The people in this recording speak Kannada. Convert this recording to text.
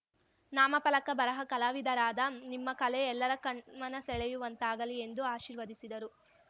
ನಾಮ ಫಲಕ ಬರಹ ಕಲಾವಿದರಾದ ನಿಮ್ಮ ಕಲೆ ಎಲ್ಲರ ಕಣ್ಮನ ಸೆಳೆಯುವಂತಾಗಲಿ ಎಂದು ಆಶೀರ್ವದಿಸಿದರು